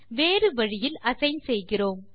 வேறு வழியில் அசைன் செய்கிறோம்